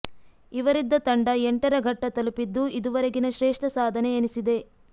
ಇವರಿದ್ದ ತಂಡ ಎಂಟರ ಘಟ್ಟ ತಲುಪಿದ್ದು ಇದುವರೆಗಿನ ಶ್ರೇಷ್ಠ ಸಾಧನೆ ಎನಿಸಿದೆ